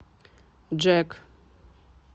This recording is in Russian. джэк